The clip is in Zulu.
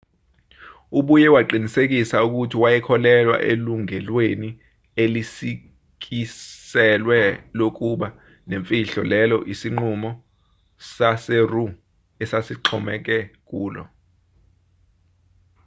ubuye waqinisekisa ukuthi wayekholelwa elungelweni elisikiselwe lokuba nemfihlo lelo isinqumo saseroe esasixhomeke kulo